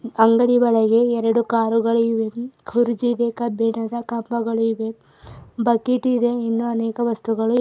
ಅಂಗಡಿ ಒಳಗೆ ಎರಡು ಕಾರುಗಳು ಇವೆ ಕುರ್ಚಿ ಕಬ್ಬಿಣದ ಕಂಬಗಳು ಇವೆ ಬಕೆಟ್ ಇದೆ ಇನ್ನೂ ಅನೇಕ ವಸ್ತುಗಳು--